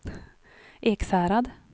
Ekshärad